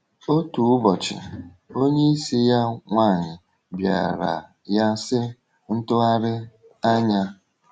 Otu ụbọchị, onyeisi ya nwanyị bịara ya, sị: “Ntụgharị anya!”